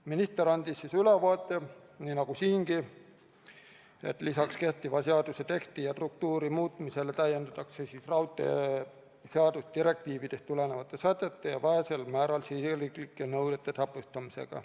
Minister andis ülevaate, nii nagu siingi, et lisaks kehtiva seaduse teksti ja struktuuri muutmisele täiendatakse raudteeseadust direktiividest tulenevate sätete ja vähesel määral riigisiseste nõuete täpsustamisega.